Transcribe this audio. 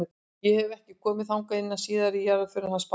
Ég hef. ekki komið þangað inn síðan í jarðarförinni hans Baldurs.